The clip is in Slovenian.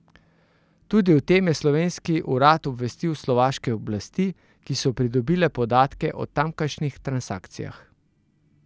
Tudi o tem je slovenski urad obvestil slovaške oblasti, ki so pridobile podatke o tamkajšnjih transakcijah.